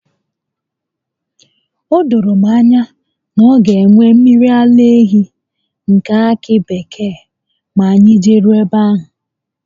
O doro m anya na ọ ga enwe mmiri ara ehi nke akị bekee ma anyị jeruo ebe ahụ